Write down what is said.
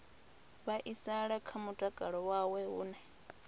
vhaisala kha mutakalo wawe hune